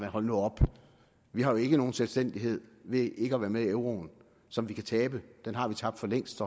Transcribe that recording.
hold nu op vi har jo ikke nogen selvstændighed ved ikke at være med i euroen som vi kan tabe den har vi tabt for længst